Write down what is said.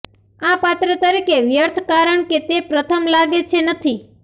આ પાત્ર તરીકે વ્યર્થ કારણ કે તે પ્રથમ લાગે છે નથી